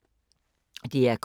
DR K